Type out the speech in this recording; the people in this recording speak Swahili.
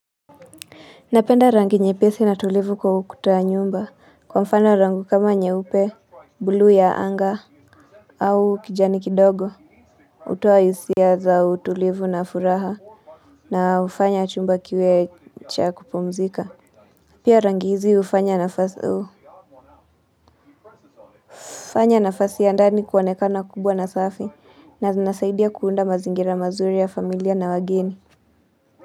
Napenda rangi nyepesi na tulivu kwa ukuta wa nyumba kwa mfano rangi kama nyeupe, bluu ya anga, au kijani kidogo hutoa hisia za utulivu na furaha na hufanya chumba kiwe cha kupumzika. Pia rangi hizi hufanya nafasi hufanya nafasi ya ndani kuonekana kubwa na safi na zinasaidia kuunda mazingira mazuri ya familia na wageni.